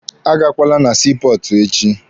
A gakwala na sii pọọtụ echi!